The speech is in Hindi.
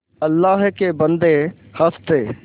अल्लाह के बन्दे हंस दे